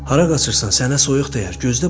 Hara qaçırsan, sənə soyuq dəyər.